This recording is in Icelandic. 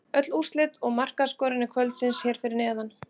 Öll úrslit og markaskorarar kvöldsins hér fyrir neðan: